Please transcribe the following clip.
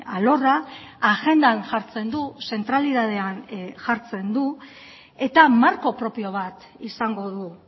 alorra agendan jartzen du zentralidadean jartzen du eta marko propio bat izango du